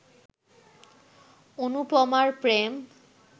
অনুপমার প্রেম